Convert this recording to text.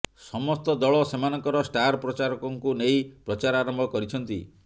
ସମସ୍ତ ଦଳ ସେମାନଙ୍କର ଷ୍ଟାର ପ୍ରଚାରକଙ୍କୁ ନେଇ ପ୍ରଚାର ଆରମ୍ଭ କରିଛନ୍ତି